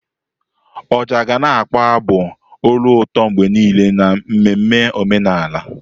Ọjà ga na-akpọ abụ olu ụtọ mgbe niile n'ememme omenala.